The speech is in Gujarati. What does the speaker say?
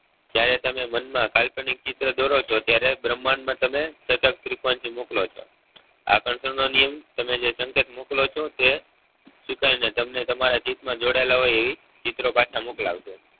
જ્યારે તમે મન માં કાલ્પનિક ચિત્ર દોરો છો ત્યારે ભ્રમાંડ માં તમે મોકલો છો આકર્ષણ નો નિયમ તમે જે સંકેત મોકલો છો તે સુકાઈ ને તને તમારા ચિત માં જોડાયેલા હોય એ ચિત્રો પાછા મોકલાવવા ના હોય